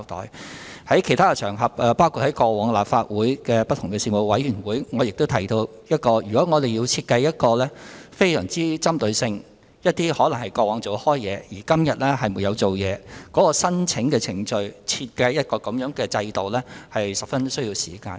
我曾在其他場合，包括過往在立法會的不同事務委員會上提到，如果要設計一些非常具針對性的措施，例如針對過往有工作而現在沒有工作的人士申請援助的程序，需時甚久。